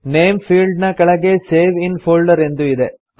name field ನ ಕೆಳಗೆ save in folder ಎಂದು ಇದೆ